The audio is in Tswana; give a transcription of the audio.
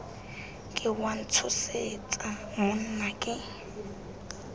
ke wa ntshosetsa monna ke